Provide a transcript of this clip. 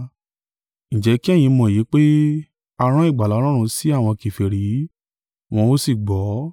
“Ǹjẹ́ kí ẹ̀yin mọ́ èyí pé, a rán ìgbàlà Ọlọ́run sí àwọn kèfèrí wọ́n ó sì gbọ́!”